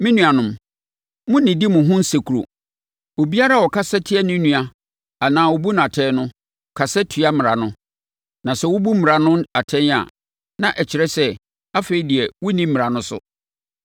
Me nuanom, monnnidi mo ho nsekuro. Obiara a ɔkasa tia ne nua anaa ɔbu no atɛn no, kasa tia Mmara no. Na sɛ wobu Mmara no atɛn a, na ɛkyerɛ sɛ, afei deɛ wonni Mmara no so.